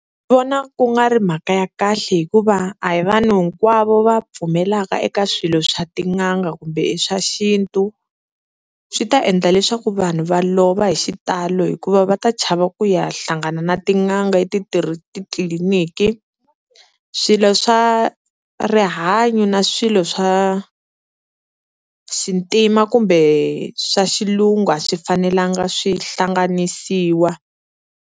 Ndzi vona ku nga ri mhaka ya kahle hikuva a hi vanhu hinkwavo va pfumelaka eka swilo swa tin'anga kumbe i swa xintu. Swi ta endla leswaku vanhu va lova hi xitalo hikuva va ta chava ku ya hlangana na tin'anga etitliliniki swilo swa rihanyo na swilo swa xintima kumbe swa xilungu a swi fanelangi swi hlanganisiwa.